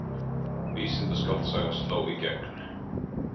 Vísindaskáldsaga sló í gegn